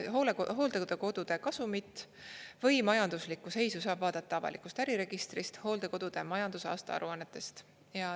Hooldekodude kasumit või majanduslikku seisu saab vaadata avalikust äriregistrist hooldekodude majandusaasta aruannetest.